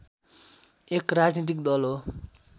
एक राजनीतिक दल हो